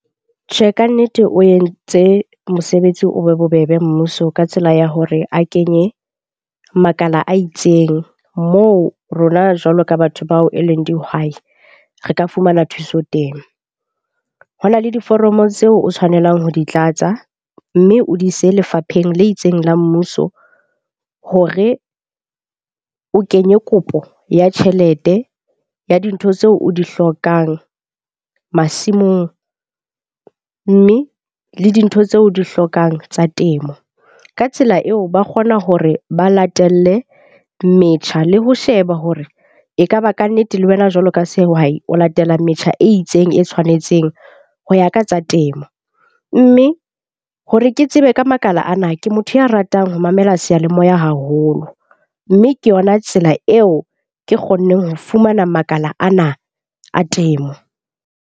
Tjhe, kannete o entse mosebetsi o be bobebe mmuso ka tsela ya hore a kenye makala a itseng, moo rona, jwalo ka batho bao e leng dihwai, re ka fumana thuso teng. Ho na le diforomo tseo o tshwanelang ho di tlatsa. Mme o di ise lefapheng le itseng la mmuso hore o kenye kopo ya tjhelete ya dintho tseo o di hlokang masimong. Mme le dintho tseo o di hlokang tsa temo. Ka tsela eo ba kgona hore ba latelle metjha le ho sheba hore ekaba kannete le wena jwalo ka sehwai o latela metjha e itseng e tshwanetseng ho ya ka tsa temo. Mme hore ke tsebe ka makala ana, ke motho ya ratang ho mamela seyalemoya haholo. Mme ke yona tsela eo ke kgonneng ho fumana makala ana a temo.